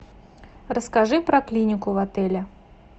расскажи про клинику в отеле